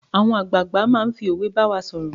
Our Elders speak to us in proverb.